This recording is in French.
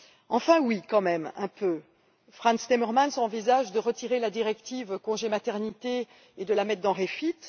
Enfin si, quand même un peu Frans Timmermans envisage de retirer la directive congé de maternité et de la mettre dans REFIT